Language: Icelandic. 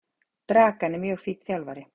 Dragan er mjög fínn þjálfari.